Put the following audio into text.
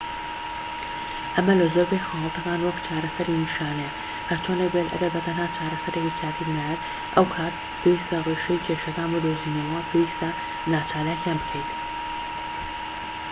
ئەمە لە زۆربەی حاڵەتەکان وەک چارەسەری نیشانەییە هەرچۆنێک بێت ئەگەر بە تەنها چارەسەرێکی کاتییت ناوێت ئەو کات پێویستە ڕیشەی کێشەکان بدۆزینەوە و پێویستە ناچالاکیان بکەین